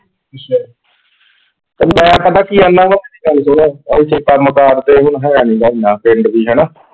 ਤੇ ਮੈਂ ਪਤਾ ਕਿ ਆਖਦਾ ਵਾਂ, ਮੇਰੀ ਗੱਲ ਸੁਨ, ,